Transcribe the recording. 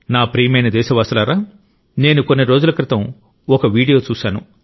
నా ప్రియమైన దేశవాసులారా నేను కొన్ని రోజుల క్రితం ఒక వీడియో చూశాను